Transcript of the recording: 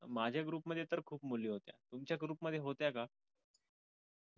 माझ्या group मध्ये तर खूप मुली होत्या तुमच्या group मध्ये होत्या का?